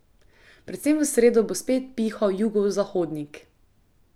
Predvsem v sredo bo spet pihal jugozahodnik.